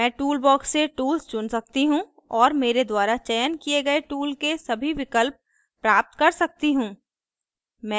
मैं tools box से tools चुन सकती हूँ और मेरे द्वारा चयन किए गए tools के सभी विकल्प प्राप्त कर सकती हूँ